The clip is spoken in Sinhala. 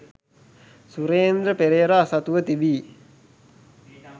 සුරේන්ද්‍ර පෙරේරා සතුව තිබී